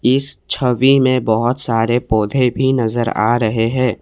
इस छवि में बहुत सारे पौधे भी नजर आ रहे हैं।